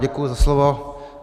Děkuji za slovo.